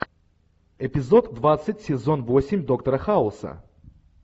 эпизод двадцать сезон восемь доктора хауса